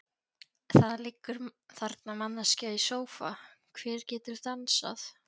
Það liggur þarna manneskja í sófa, hver getur dansað?